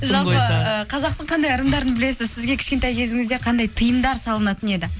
жалпы ы қазақтың қандай ырымдарын білесіз сізге кішкентай кезіңізде қандай тиымдар салынатын еді